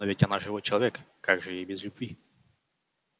но ведь она живой человек как же ей без любви